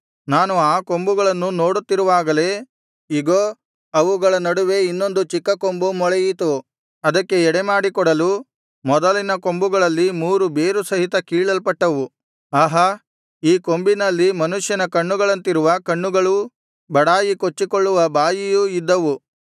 ನಾನು ಆ ಕೊಂಬುಗಳನ್ನು ನೋಡುತ್ತಿರುವಾಗಲೆ ಇಗೋ ಅವುಗಳ ನಡುವೆ ಇನ್ನೊಂದು ಚಿಕ್ಕ ಕೊಂಬು ಮೊಳೆಯಿತು ಅದಕ್ಕೆ ಎಡೆಮಾಡಿ ಕೊಡಲು ಮೊದಲಿನ ಕೊಂಬುಗಳಲ್ಲಿ ಮೂರು ಬೇರು ಸಹಿತ ಕೀಳಲ್ಪಟ್ಟವು ಆಹಾ ಈ ಕೊಂಬಿನಲ್ಲಿ ಮನುಷ್ಯನ ಕಣ್ಣುಗಳಂತಿರುವ ಕಣ್ಣುಗಳೂ ಬಡಾಯಿ ಕೊಚ್ಚಿಕೊಳ್ಳುವ ಬಾಯಿಯೂ ಇದ್ದವು